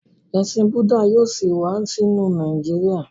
Ẹsìn Budda yíò sí wá sínú Nàìjíríà